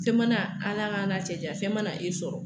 Fɛn mana Ala k'an n'a cɛ janya fɛn mana e sɔrɔ